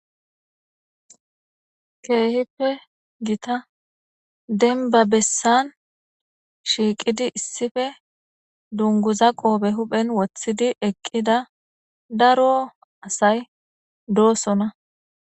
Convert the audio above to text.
Keehippe gita denba bessan shiiqidi issife dunguza qoobe huphen wothidi eqqida daro asay doosona.